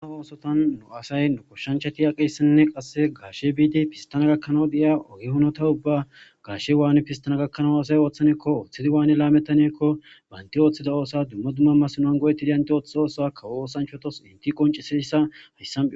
Dumma oosotan nu asay nu kushshanchati aqissinne qasse garshe biidi pistana gakkanaw de7iyaa ogi honota ubba garshe waani pistana gakkanao asay ooththanekko ooththidi waane laamettaniekko baynti ooththida oosa dumma dumma masnoan go7eti diyanti ooththe oosa kawo oosanchotos inti qonci sidissahayssam.